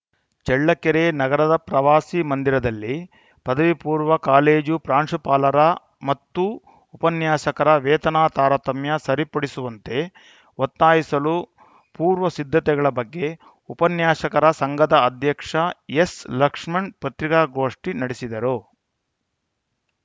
ಚಳ್ಳಕೆರೆ ನಗರದ ಪ್ರವಾಸಿ ಮಂದಿರದರಲ್ಲಿ ಪದವಿಪೂರ್ವ ಕಾಲೇಜು ಪ್ರಾಂಶುಪಾಲರ ಮತ್ತು ಉಪನ್ಯಾಸಕರ ವೇತನ ತಾರತಮ್ಯ ಸರಿಪಡಿಸುವಂತೆ ಒತ್ತಾಯಿಸಲು ಪೂರ್ವ ಸಿದ್ಧತೆಗಳ ಬಗ್ಗೆ ಉಪನ್ಯಾಸಕರ ಸಂಘದ ಅಧ್ಯಕ್ಷ ಎಸ್‌ಲಕ್ಷ್ಮಣ್‌ ಪತ್ರಿಕಾಗೋಷ್ಠಿ ನಡೆಸಿದರು